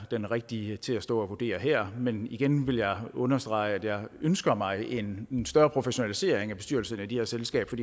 den rigtige til at stå og vurdere her men igen vil jeg understrege at jeg ønsker mig en større professionalisering af bestyrelserne af de her selskaber